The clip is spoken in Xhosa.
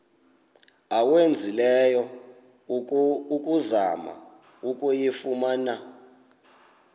owenzileyo ukuzama ukuyifumana